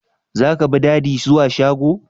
Zaka bi Dady zuwa shago?